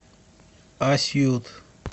асьют